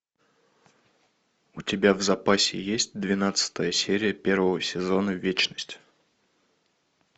у тебя в запасе есть двенадцатая серия первого сезона вечность